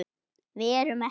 Við erum ekki.